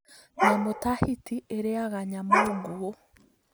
Nyamũ ta hiti ĩrĩaga nyamũ nguũ